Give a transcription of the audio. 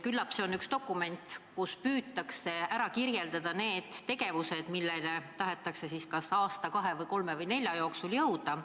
Küllap see on üks dokument, kus on püütud kirja panna need tegevused, milleni tahetakse kas aasta, kahe või kolme või nelja jooksul jõuda.